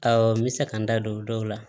Awɔ n bɛ se ka n da don dɔw la